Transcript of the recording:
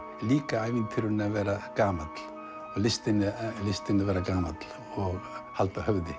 líka ævintýrinu að vera gamall og listinni listinni að vera gamall og halda höfði